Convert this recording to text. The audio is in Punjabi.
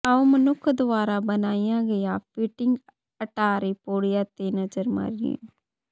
ਆਉ ਮਨੁੱਖ ਦੁਆਰਾ ਬਣਾਈਆਂ ਗਈਆਂ ਫਿਟਿੰਗ ਅਟਾਰੀ ਪੌੜੀਆਂ ਤੇ ਨਜ਼ਰ ਮਾਰੀਏ